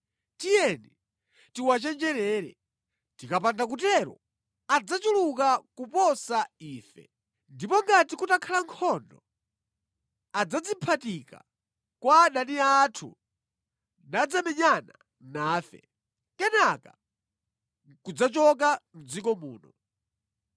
Tiyeni tiwachenjerere. Tikapanda kutero adzachuluka kuposa ife, ndipo ngati kutakhala nkhondo, adzadziphatika kwa adani athu nadzamenyana nafe, kenaka nʼkudzachoka mʼdziko muno.”